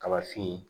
Kaba fin